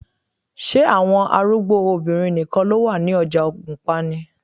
Ṣé àwọn arúgbó obìnrin nìkan ló wà lọ́jà ògùnpa ni?